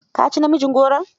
Ka ci namijin goron?